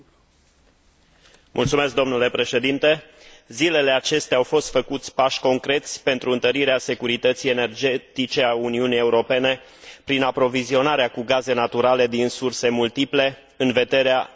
Zilele acestea au fost făcuți pași concreți pentru întărirea securității energetice a Uniunii Europene, prin aprovizionarea cu gaze naturale din surse multiple, în vederea evitării unei noi crize a gazelor în Europa.